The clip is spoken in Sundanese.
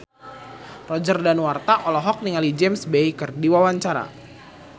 Roger Danuarta olohok ningali James Bay keur diwawancara